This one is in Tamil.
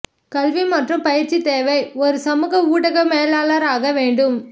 கல்வி மற்றும் பயிற்சி தேவை ஒரு சமூக ஊடக மேலாளர் ஆக வேண்டும்